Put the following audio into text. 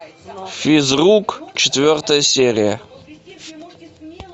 физрук четвертая серия